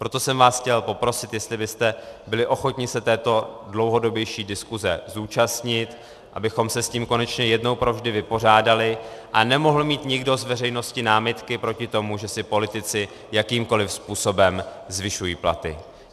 Proto jsem vás chtěl poprosit, jestli byste byli ochotni se této dlouhodobější diskuze zúčastnit, abychom se s tím konečně jednou provždy vypořádali a nemohl mít nikdo z veřejnosti námitky proti tomu, že si politici jakýmkoliv způsobem zvyšují platy.